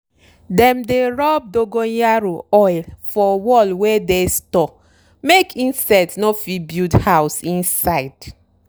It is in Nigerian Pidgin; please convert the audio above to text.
dem dey rub dongoyaro oil for wall wey dey store make insect no fit build house inside.